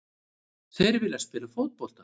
Þeir vilja spila fótbolta.